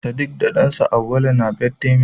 sediq da dansa Awaulu ne birthday mate